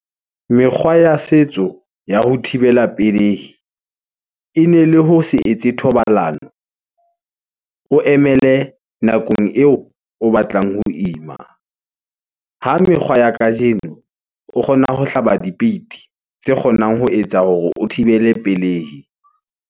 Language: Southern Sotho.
Mekgwa ya setso, ya ho thibela pelehi , e ne le ho se etse thobalano . O emele nakong eo o batlang ho ima . Ha mekgwa ya kajeno, o kgona ho hlaba dipeiti, tse kgonang ho etsa hore o thibele pelehi.